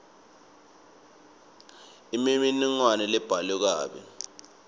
imininingwane lebhalwe kabi